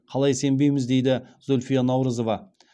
қалай сенбейміз дейді зульфия наурызова